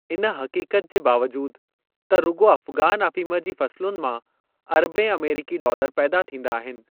इन हक़ीक़त जे बावजूदु त रुॻो अफ़गान अफ़ीम जी फ़सलुनि मां अरबें अमरीकी डॉलर पैदा थींदा आहिनि।